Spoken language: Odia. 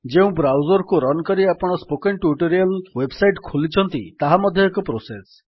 ଯେଉଁ ବ୍ରାଉଜର୍ କୁ ରନ୍ କରି ଆପଣ ସ୍ପୋକେନ୍ ଟ୍ୟୁଟୋରିଆଲ୍ ୱେବ୍ ସାଇଟ୍ ଖୋଲିଛନ୍ତି ତାହା ମଧ୍ୟ ଏକ ପ୍ରୋସେସ୍